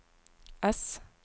S